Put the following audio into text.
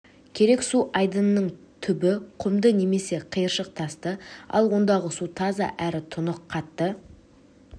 керек су айдынының түбі құмды немесе қиыршық тасты ал ондағы су таза әрі тұнық қатты